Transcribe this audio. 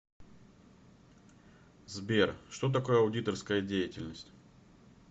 сбер что такое аудиторская деятельность